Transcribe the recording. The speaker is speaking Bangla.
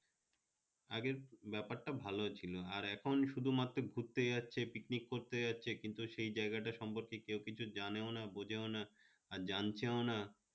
আগে ব্যাপারটা ভাল ছিল আর এখন শুধুমাত্র ঘুরতে যাচ্ছে picnic করতে যাচ্ছে কিন্তু সেই জায়গাটা সম্পর্কে কেউ কিছু জানে ও না বোঝো ও না আর জানছেও ও না